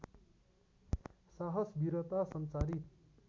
साहस वीरता सञ्चारित